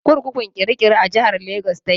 Kurkukun kirikiri a jihar Lagos ta ke.